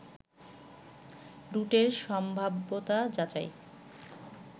রুটের সম্ভাব্যতা যাচাই